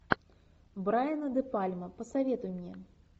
брайана де пальма посоветуй мне